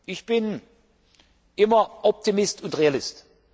aus. Ich bin immer Optimist und Realist.